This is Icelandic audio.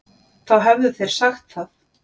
Þá hefðu þeir sagt það.